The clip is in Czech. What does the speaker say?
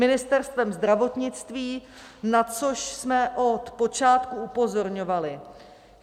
Ministerstvem zdravotnictví, na což jsme od počátku upozorňovali.